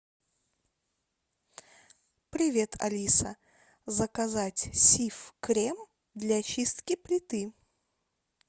привет алиса заказать сиф крем для чистки плиты